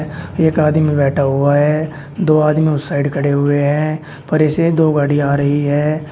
एक आदमी बैठा हुआ है दो आदमी उस साइड खड़े हुए है परे से दो गाड़ियां आ रही है।